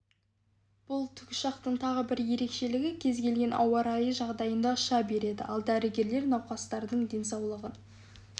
бұл тікұшақтың тағы бір ерекшелігі кез келген ауа райы жағдайында ұша береді ал дәрігерлер науқастардың денсаулығын